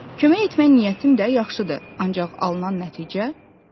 Kömək etmək niyyətim də yaxşıdır, ancaq alınan nəticə pis.